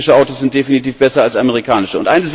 Europäische Autos sind definitiv besser als amerikanische.